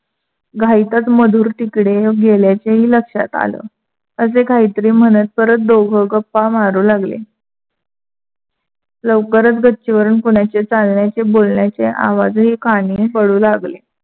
घाईतच मधुर तिकडे गेल्याचंही लक्षात आले. असे काहीतरी म्हणत परत दोघ गप्पा मारु लागले. लवकरच गच्चीवरून कोणाचे चालण्याचे बोलण्याचे आवाजही कानी पडू लागले.